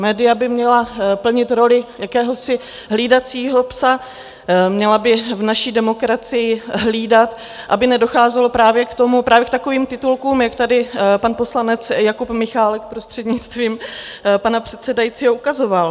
Média by měla plnit roli jakéhosi hlídacího psa, měla by v naší demokracii hlídat, aby nedocházelo právě k takovým titulkům, jak tady pan poslanec Jakub Michálek, prostřednictvím pana předsedajícího, ukazoval.